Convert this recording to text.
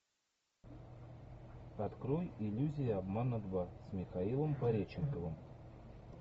открой иллюзия обмана два с михаилом пореченковым